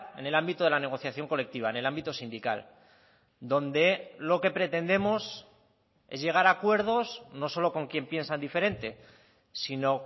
en el ámbito de la negociación colectiva en el ámbito sindical donde lo que pretendemos es llegar a acuerdos no solo con quien piensa diferente sino